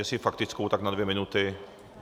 Jestli faktickou, tak na dvě minuty.